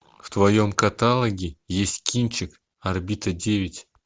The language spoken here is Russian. в твоем каталоге есть кинчик орбита девять